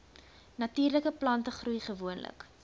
natuurlike plantegroei gewoonlik